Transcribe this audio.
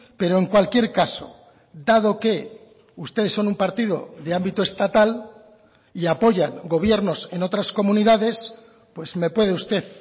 pero en cualquier caso dado que ustedes son un partido de ámbito estatal y apoyan gobiernos en otras comunidades pues me puede usted